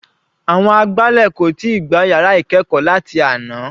Àwọn agbálẹ̀ kò tíì gbá yàrá ìkẹ́ẹ̀kọ́ láti àná.